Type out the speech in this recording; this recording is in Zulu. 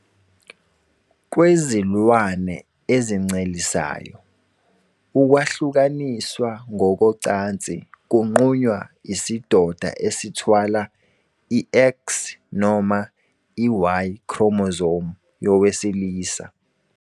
Kwezilwane ezincelisayo, ukwahlukaniswa ngokocansi kunqunywa isidoda esithwala i- X noma i- Y, chromosome, yowesilisa.